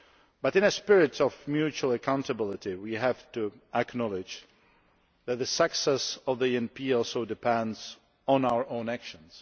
But in a spirit of mutual accountability, we have to acknowledge that the success of the ENP also depends on our own actions.